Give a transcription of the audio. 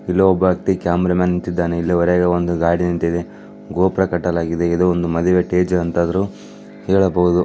ಇಲ್ಲಿ ಒಬ್ಬ cameraman ನಿಂತಿದ್ದಾನೆ ಇಲ್ಲಿ ಹೊರಗೆ ಒಂದು ಗಾಡಿ ನಿಂತಿದೆ ಗೋಪುರ ಕಟ್ಟಲಾಗಿದೆ ಇದು ಒಂದು ಮಧುವೆ ಸ್ಟೇಜ್ ಅಂತ ಆದ್ರು ಹೇಳಬಹುದು .